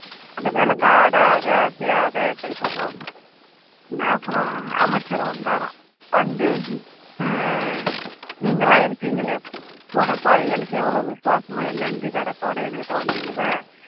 அந்த விளக்கு ஆடாத அசையாத எடுத்துட்டு போகுமா அப்பறோம் அமைச்சர் வந்தாராம் வந்து ஆஹ் நீங்களாம் இருக்கீங்களே பூனை பாரு எனக்கு எவ்வளோ விசுவாசமா நன்றிகடத்தோட என்கிட்ட வந்து